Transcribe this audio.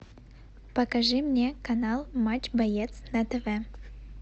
покажи мне канал матч боец на тв